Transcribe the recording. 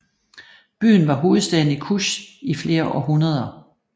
Byen var hovedstaden i Kush i flere århundreder